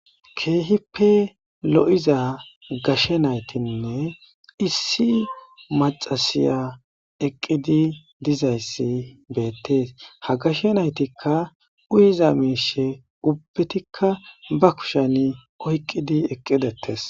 Keehippe lo'iza gashe naytinne issi maxasiya eqqidi dizayssi beettees ha gashe naytikka uyiza miishe ubbetikka ba kusheni oyqqidi eqqidettes.